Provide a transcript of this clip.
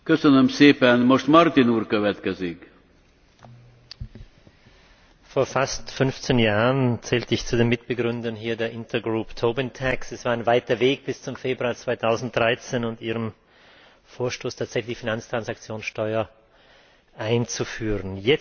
Herr Präsident! Vor fast 15 Jahren zählte ich zu den Mitbegründern hier der Es war ein weiter Weg bis zum Februar 2013 und Ihrem Vorstoß, tatsächlich eine Finanztransaktionssteuer einzuführen.